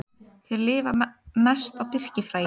Þeir lifa mest á birkifræi.